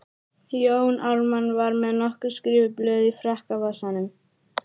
Jón Ármann var með nokkur skrifuð blöð í frakkavasanum.